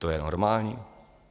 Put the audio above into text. To je normální?